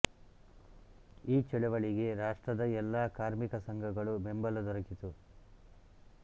ಈ ಚಳವಳಿಗೆ ರಾಷ್ಟ್ರದ ಎಲ್ಲ ಕಾರ್ಮಿಕ ಸಂಘಗಳು ಬೆಂಬಲ ದೊರಕಿತು